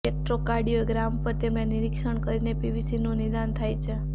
electrocardiogram પર તેમને નિરીક્ષણ કરીને પીવીસીનું નિદાન થાય છે